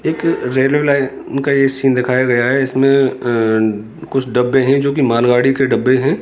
एक railway line का ये सीन दिखाया गया है इसमें कुछ अं डब्बे हैं जोकि मालगाड़ी के डब्बे हैं।